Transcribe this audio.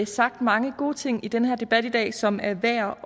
sagt mange gode ting i den hen debat i dag som er værd